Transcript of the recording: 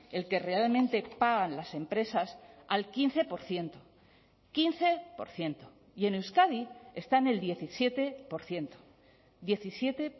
el que realmente pagan las empresas al quince por ciento quince por ciento y en euskadi está en el diecisiete por ciento diecisiete